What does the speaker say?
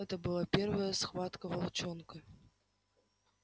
это была первая схватка волчонка